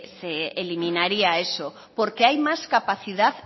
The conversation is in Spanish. se eliminaría eso porque hay más capacidad